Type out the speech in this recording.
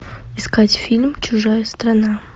искать фильм чужая страна